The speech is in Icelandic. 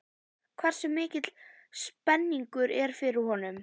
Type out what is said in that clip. Hversu mikil spenningur er fyrir honum?